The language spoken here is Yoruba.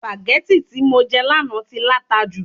sùpàgẹ́tì tí mo jẹ lánàá tí láta jù